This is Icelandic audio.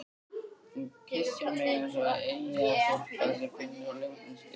Hún kyssir mig eins og eyjastúlka sem finnur ljótan skip